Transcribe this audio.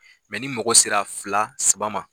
ni mɔgɔ sera fila saba ma.